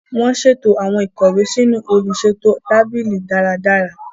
Wọn ṣeto awọn ikọwe sínú oluṣeto tábìlì dáradára.